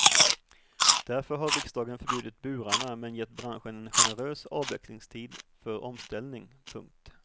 Därför har riksdagen förbjudit burarna men gett branschen en generös avvecklingstid för omställning. punkt